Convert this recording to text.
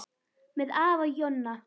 Með afa Jonna.